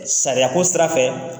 Sariya ko sira fɛ